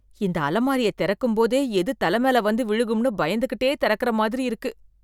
இந்த அலமாரிய திறக்கும் போதே எது தலை மேல வந்து விழுகும்னு பயந்துகிட்டே திறக்கிற மாதிரி இருக்கு